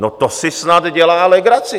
No to si snad dělá legraci!